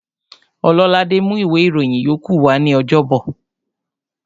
Ọlọ́ládé mú ìwé ìròyìn yókù wa ní ọjọ́bọ̀